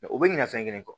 u bɛ ɲina fɛn kelen kɔ